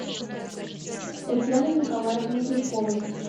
татьяной николаевной пешковой